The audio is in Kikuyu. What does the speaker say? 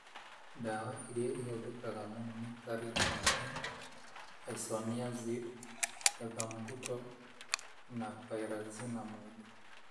Ndawa ĩrĩa ĩhũthĩkaga mũno nĩ ta Rifampin, Isoniazid, Ethambutol, na Pyrazinamide.